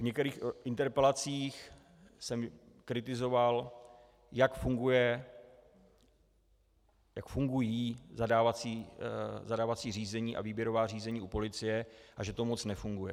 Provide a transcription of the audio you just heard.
V některých interpelacích jsem kritizoval, jak fungují zadávací řízení a výběrová řízení u policie a že to moc nefunguje.